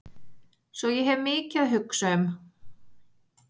Svo ég hef mikið að hugsa um.